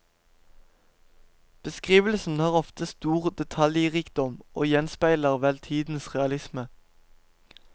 Beskrivelsene har ofte stor detaljrikdom og gjenspeiler vel tidenes realisme.